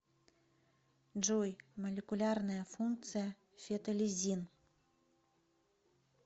джой молекулярная функция фетолизин